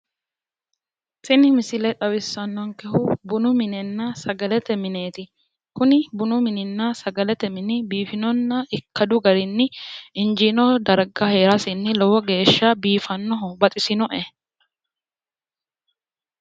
Tini misile xawissannonkehu bunu minenna sagalete mineeti, kuni bunu mininna sagalete mini biifinonna injaanno garinni injiino darga heerasinni lowo geeshsha baxisinoe.